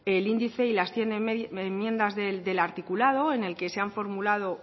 el índice y las cien enmiendas del articulado en el que se han formulado